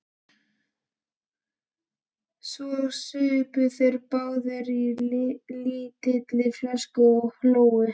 Svo supu þeir báðir á lítilli flösku og hlógu.